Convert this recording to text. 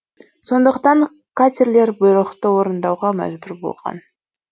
сондықтан катерлер бұйрықты орындауға мәжбүр болған